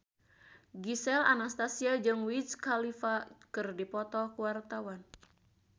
Gisel Anastasia jeung Wiz Khalifa keur dipoto ku wartawan